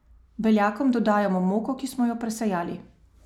Beljakom dodajamo moko, ki smo jo presejali.